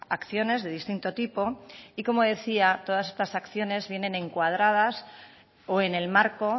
acciones de distinto tipo y como decía todas estas acciones vienen encuadradas o en el marco